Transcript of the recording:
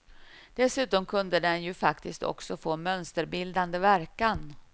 Dessutom kunde den ju faktiskt också få mönsterbildande verkan.